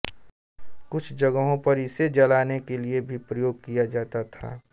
कुछ जगहों पर इसे जलाने के लिए भी प्रयोग किया जाता है